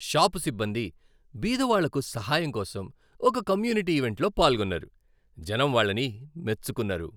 Shop సిబ్బంది బీదవాళ్లకు సహాయం కోసం ఒక కమ్యూనిటీ ఈవెంట్లో పాల్గొన్నారు, జనం వాళ్ళని మెచ్చుకున్నారు.